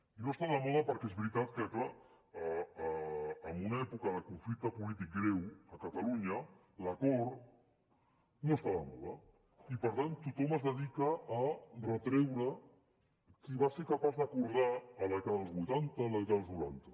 i no està de moda perquè és veritat que clar en una època de conflicte polític greu a catalunya l’acord no està de moda i per tant tothom es dedica a retreure qui va ser capaç d’acordar a la dècada dels vuitanta a la dècada dels noranta